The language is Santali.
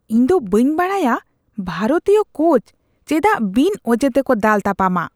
ᱤᱧᱫᱚ ᱵᱟᱹᱧ ᱵᱟᱰᱟᱭᱟ ᱵᱷᱟᱨᱚᱛᱤᱭᱚ ᱠᱳᱪ ᱪᱮᱫᱟᱜ ᱵᱤᱱ ᱚᱡᱮ ᱛᱮᱠᱚ ᱫᱟᱞᱼᱛᱟᱯᱟᱢᱟ ᱾